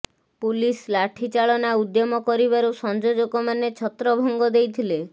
police ଲାଠି ଚାଳନା ଉଦ୍ୟମ କରିବାରୁ ସଂଯୋଜକମାନେ ଛତ୍ରଭଙ୍ଗ ଦେଇଥିଲେ